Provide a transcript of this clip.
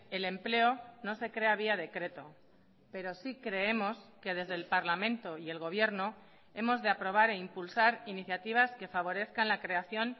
el empleo no se crea vía decreto pero sí creemos que desde el parlamento y el gobierno hemos de aprobar e impulsar iniciativas que favorezcan la creación